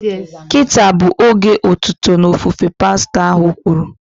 Kịta a bụ oge otuto na ofufe" pastọ ahụ kwuru